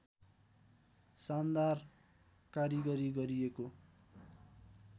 शानदार कारिगरी गरिएको